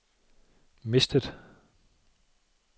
mistet